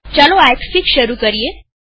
ચાલો એક્સફીગ શરૂ કરીએ